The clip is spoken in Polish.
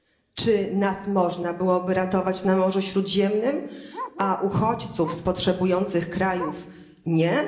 Czy nas można byłoby ratować na Morzu Śródziemnym, a uchodźców z potrzebujących krajów nie?